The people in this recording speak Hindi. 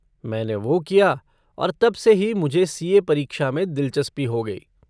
मैंने वो किया और तब से ही मुझे सी.ए. परीक्षा में दिलचस्पी हो गई।